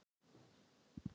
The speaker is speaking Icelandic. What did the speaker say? Þá leið mér svo vel.